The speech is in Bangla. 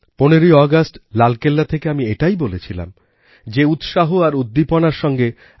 ১৫ই অগাস্ট লালকেল্লা থেকে আমি এটাই বলেছিলাম যে উৎসাহ আর উদ্দীপনার সঙ্গে